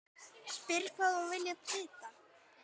Spyr hvað hún vilji vita.